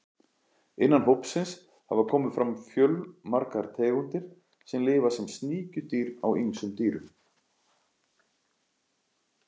Innan hópsins hafa komið fram fjölmargar tegundir sem lifa sem sníkjudýr á ýmsum dýrum.